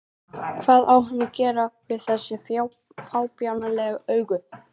Hvað á hann að gera við þessi fábjánalegu augu?